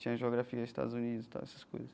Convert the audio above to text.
Tinha geografia dos Estados Unidos e tal, essas coisas.